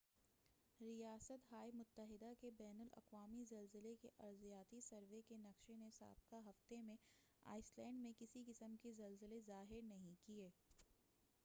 ریاست ہائے متحدہ کے بین الاقوامی زلزلے کے ارضیاتی سروے کے نقشے نے سابقہ ہفتے میں آئس لینڈ میں کسی قسم کے زلزلے ظاہر نہیں کیے